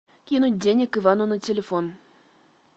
кинуть денег ивану на телефон